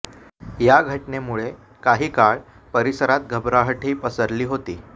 या घटनेमुळे काही काळ परिसरात घबराटही पसरली होती